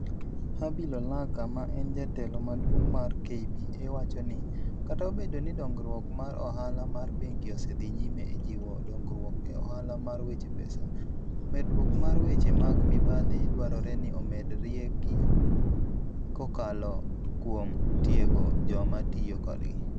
Habil Olaka, ma en Jatelo Maduong' mar KBA wacho ni, "Kata obedo ni dongruok mar ohala mar bengi osedhi nyime e jiwo dongruok e ohala mar weche pesa, medruok mar weche mag mibadhi dwarore ni omed riegi kokalo kuom tiego joma tiyo kodgi.